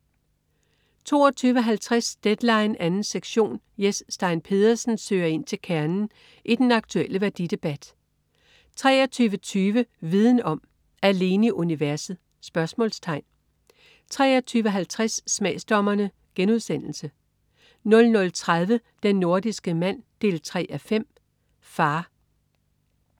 22.50 Deadline 2. sektion. Jes Stein Pedersen søger ind til kernen i den aktulle værdidebat 23.20 Viden om: Alene i universet?* 23.50 Smagsdommerne* 00.30 Den nordiske mand 3:5. Far